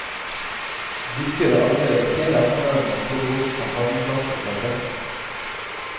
Dykkere arbeidet hele ettermiddagen med å plukke opp champagneflasker fra dekket.